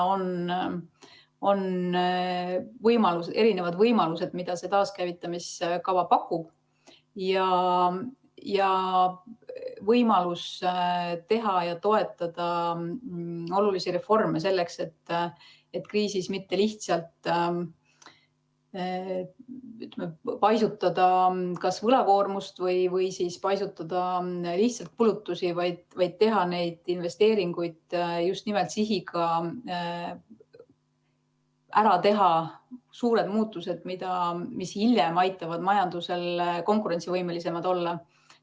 On erinevad võimalused, mida see taaskäivitamise kava pakub, et teha ja toetada olulisi reforme selleks, et kriisis mitte paisutada kas võlakoormust või lihtsalt kulutusi, vaid teha investeeringuid just nimelt sihiga ära teha suured muudatused, mis hiljem aitavad majandusel konkurentsivõimelisem olla.